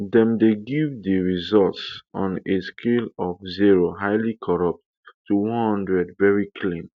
dem dey give di results on a scale of zero highly corrupt to one hundred veri clean